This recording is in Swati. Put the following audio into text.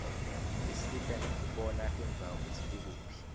isisita nekubona tindzawo kutsi tikuphi